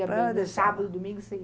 sábado, domingo você